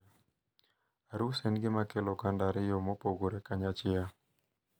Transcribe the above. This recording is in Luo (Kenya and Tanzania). Arus en gimakelo oganda ariyo mopogore kanyachiel.